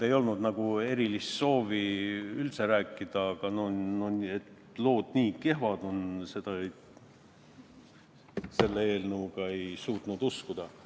Ei olnud üldse erilist soovi rääkida, aga et lood selle eelnõuga on nii kehvad, seda ei suutnud uskuda.